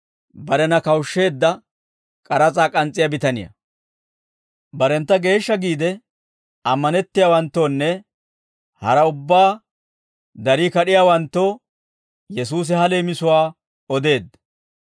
Barentta geeshsha giide ammanettiyaawanttoonne haraa ubbaa darii kad'iyaawanttoo, Yesuusi ha leemisuwaa odeedda: